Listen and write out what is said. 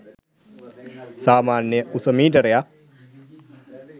සාමාන්‍ය උස මීටරයක්